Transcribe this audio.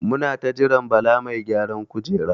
Muna ta jiran Bala mai gyaran kujera.